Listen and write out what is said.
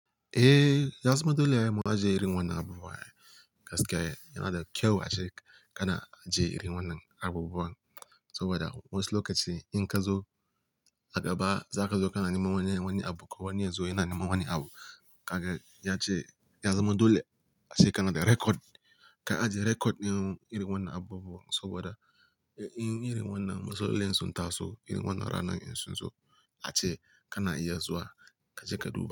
Eh, ya zama dole ai mu ajiye irin wannan abu buwa, gaskiya. Yana da kyau a ce kana ajje irin wannan abubuwa saboda wasu lokaci in ka zo, a gaba za ka zo kana neman wani abu, ko wani yazo yana neman wani abu. Kaga ya ce ya zama dole a ce kana da record. Ka ajiye record din irin wannan abu buwa saboda in irin wannan wasu masalolin sun taso, irin wannan ranar in sun zo a ce kana iya zuwa ka je ka duba.